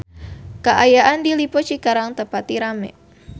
Kaayaan di Lippo Cikarang teu pati rame